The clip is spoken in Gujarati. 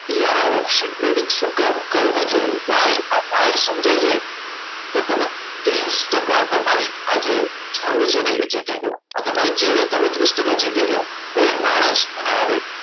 કે option trading શું કામ કરવું જોઈએ ભાઈ આ ભાઈ સમજાઈ જાય તો તમે ત્રીસ ટકા તમારી આજે જંગ છે ને જે જીતી ગયા આ તમારી challenge છે ને ત્રીસ ટકા જીતી ગયા કોઈ માણસ મને આવે